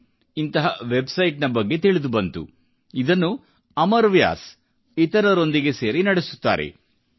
ಇನ್ ನಂತಹ ವೆಬ್ಸೈಟ್ ನ ಬಗ್ಗೆ ತಿಳಿದುಬಂತು ಇದನ್ನು ಅಮರ್ ವ್ಯಾಸ್ ಇತರರೊಂದಿಗೆ ಸೇರಿ ನಡೆಸುತ್ತಾರೆ